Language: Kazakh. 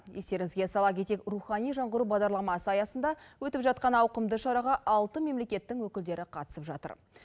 естеріңізге сала кетейік рухани жаңғыру бағдарламасы аясында өтіп жатқан ауқымды шараға алты мемлекеттің өкілдері қатысып жатыр